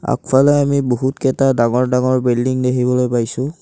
আগফালে আমি বহুতকেইটা ডাঙৰ ডাঙৰ বিল্ডিং দেখিব পাইছোঁ।